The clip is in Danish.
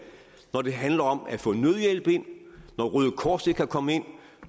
når det handler om at få noget hjælp ind når røde kors ikke kan komme ind